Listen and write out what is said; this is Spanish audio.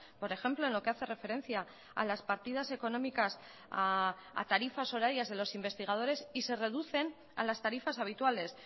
por ejemplo en lo que hace referencia a las partidas económicas a tarifas horarias de los investigadores y se reducen a las tarifas habituales